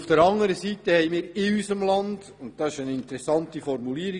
Der Vorstoss enthält eine interessante Formulierung: